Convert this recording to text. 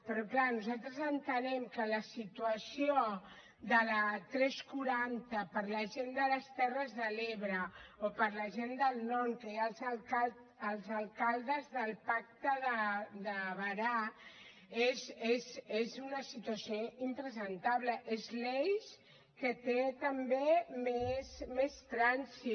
però clar nosaltres entenem que la situació de la tres cents i quaranta per a la gent de les terres de l’ebre o per a la gent del nord que hi ha els alcaldes del pacte de berà és una situació impresentable és l’eix que té també més trànsit